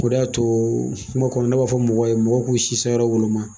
O de y'a to kuma kɔnɔ ne b'a fɔ mɔgɔw ye, mɔgɔw k'u si san yɔrɔ woloma.